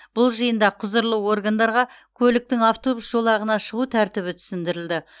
бұл жиында құзырлы органдарға көліктің автобус жолағына шығу тәртібі түсіндірілді